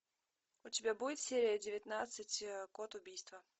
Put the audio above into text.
у тебя будет серия девятнадцать код убийства